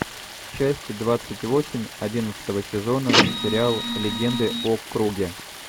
часть двадцать восемь одиннадцатого сезона сериал легенды о круге